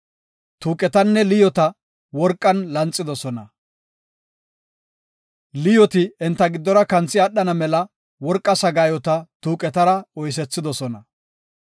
Tuuqetanne liyoota worqan lanxidosona. Liyooti enta giddora kanthi aadhana mela worqa sagaayota tuuqetara oysethidosona.